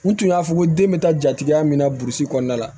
U tun y'a fɔ ko den bɛ taa jatigiya min na burusi kɔnɔna la